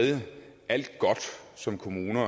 alt godt som kommunerne